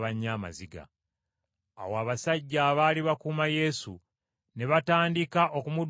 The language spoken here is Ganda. Awo abasajja abaali bakuuma Yesu ne batandika okumuduulira n’okumukuba.